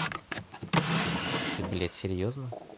ты ты блять серьёзно